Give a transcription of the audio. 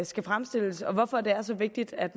skal fremstilles og hvorfor det er så vigtigt at